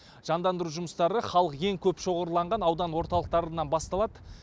жандандыру жұмыстары халық ең көп шоғырланған аудан орталықтарынан басталады